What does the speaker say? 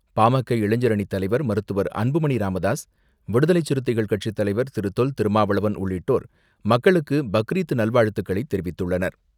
பா.ம.க. இளைஞர் அணித்தலைவர் மருத்துவர் அன்புமணி ராமதாஸ், விடுதலை சிறுத்தைகள் கட்சித்தலைவர் திரு.தொல் திருமாவளவன் உள்ளிட்டோர் மக்களுக்கு பக்ரீத் நல்வாழ்த்துக்களை தெரிவித்துள்ளனர்.